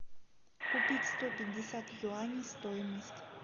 купить сто пятьдесят юаней стоимость